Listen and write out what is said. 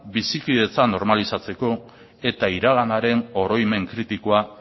bizikidetza normalizatzeko eta iraganaren oroimen kritikoa